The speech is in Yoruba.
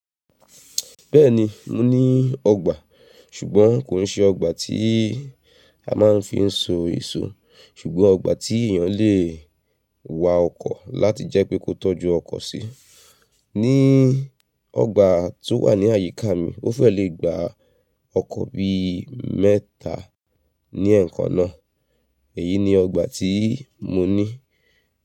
Bẹ́ẹ̀ni mo ní ọgbà, ṣùgbọ́n kò n ṣe ọgbà tí a máa ń fi n so èso, ṣùgbọ́n ọgbà tí èèyàn lè wa ọkọ̀ láti jẹ́ pé kó tọ́jú ọkọ̀ sí. Ní ọgbà tó wà ní àyíká mi, ó fẹ́ lè gbá ọkọ̀ bí mẹ́ta ní ẹ̀kan náà, èyí ni ọgbà tí mo ní.